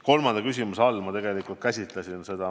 Kolmandale küsimusele vastates ma tegelikult käsitlesin seda.